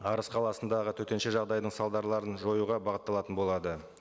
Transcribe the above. арыс қаласындағы төтенше жағдайдың салдарларын жоюға бағытталатын болады